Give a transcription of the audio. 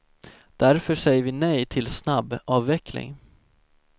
Därför säger vi nej till snabbavveckling.